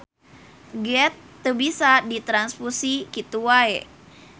Geth teu bisa ditranfusi kitu wae.